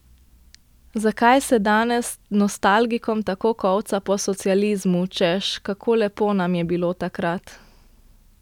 Zakaj se danes nostalgikom tako kolca po socializmu, češ kako lepo nam je bilo takrat?